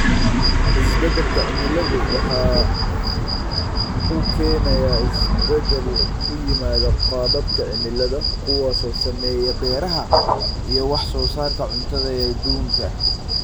Isbeddelka cimiladu waxa uu keenayaa isbeddel ku yimaada qaababka cimilada, kuwaas oo saameeya beeraha iyo wax soo saarka cuntada ee adduunka.